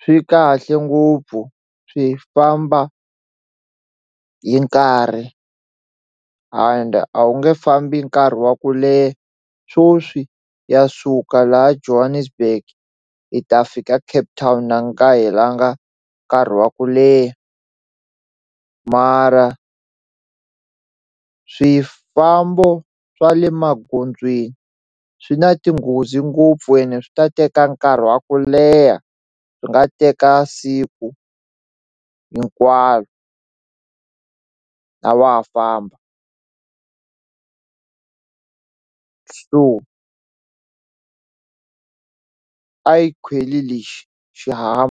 swi kahle ngopfu swi famba hi nkarhi ende a wu nge fambi nkarhi wa ku leha sweswi ha suka laha Johannesburg hi ta fika Cape town na ku nga helanga nkarhi wa ku leha mara swifambo swa le magondzweni swi na tinghozi ngopfu ene swi ta teka nkarhi wa ku leha swi nga teka siku hinkwaro a wa ha famba so a hi khweli lexi .